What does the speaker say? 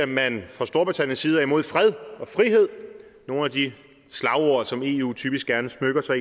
man fra storbritanniens side er imod fred og frihed nogle af de slagord som eu typisk gerne smykker sig